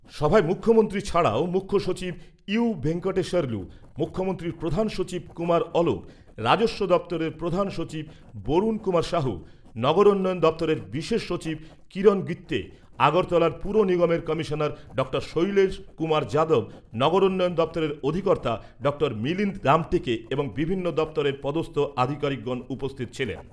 সভায় মুখ্যমন্ত্রী ছাড়াও মুখ্যসচিব ইউ ভেঙ্কটেস্বরলু , মুখ্যমন্ত্রীর প্রধান সচিব কুমার অলক , রাজস্ব দপ্তরের প্রধান সচিব বরুন কুমা সাহু, নগর দপ্তরের বিশেষ সচিব কিরণ গিত্যে , আগরতলা পুর নিগমের কমিশনার ডক্টর শৈলেশ কুমার যাদব , নগরোন্নয়ন দপ্তরের অধিকর্তা ডক্টর মিলিন্দ রামটেকে এবং বিভিন্ন দপ্তরের পদস্থ আধিকারিকগণ উপস্থিত ছিলেন।